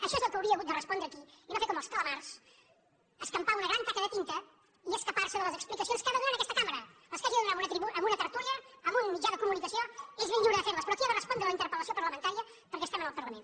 això és el que hauria hagut de respondre aquí i no fer com els calamars escampar una gran taca de tinta i escapar se de les explicacions que ha de donar en aquesta cambra les que hagi de donar en una tertúlia en un mitjà de comunicació és ben lliure de fer les però aquí ha de respondre a la interpel·lació parlamentària perquè estem en el parlament